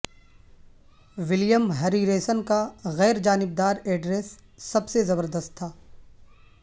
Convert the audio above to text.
William Harrison کا غیر جانبدار ایڈریس سب سے زبردست تھا